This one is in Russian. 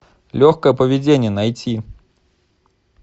легкое поведение найти